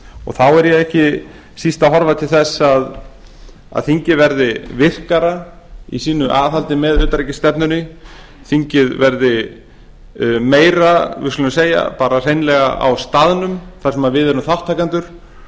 og þá er ég ekki síst að horfa til þess að þingið verði virkara í sínu aðhaldi með utanríkisstefnunni þingið verði meira við skulum segja bara hreinlega á staðnum þar sem við erum þátttakendur